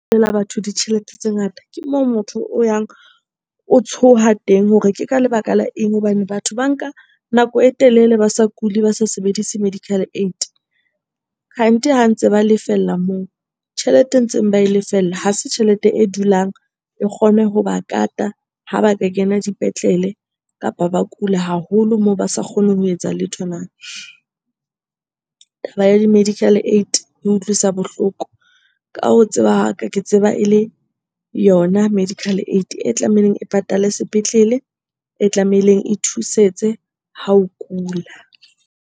Batho ditjhelete tse ngata, ke moo motho o yang o tshoha teng hore ke ka lebaka la eng? Hobane batho ba nka nako e telele ba sa kule, ba sa sebedise medical aid. Kgante ha ntse ba lefella moo, tjhelete e ntseng ba e lefella ha se tjhelete e dulang e kgone ho ba kata ha ba ka kena dipetlele kapa ba kula haholo moo ba sa kgone ho etsa letho na? Taba ya di-medical aid e utlwisa bohloko. Ka ho tseba ha ka, ke tseba e le yona medical aid e tlameileng e patale sepetlele, e tlameileng e thusetse ha o kula.